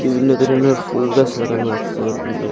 বিভিন্ন ধরনের ফুল গাছ লাগানো আছে উম আঃ।